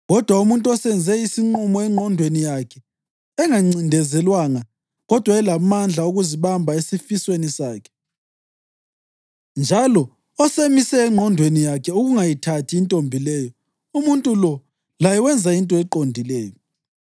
Kodwa umuntu osenze isinqumo engqondweni yakhe engancindezelwanga kodwa elamandla okuzibamba esifisweni sakhe, njalo osemise engqondweni yakhe ukungayithathi intombi leyo, umuntu lo laye wenza into eqondileyo.